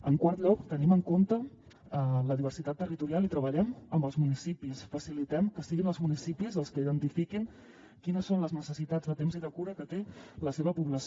en quart lloc tenim en compte la diversitat territorial i treballem amb els municipis facilitem que siguin els municipis els que identifiquin quines són les necessitats de temps i de cura que té la seva població